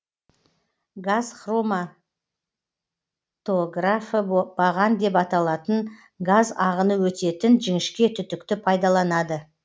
газ хроматографы баған деп аталатын газ ағыны өтетін жіңішке түтікті пайдаланады